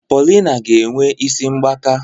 Paulina ga-enwe isi mgbaka.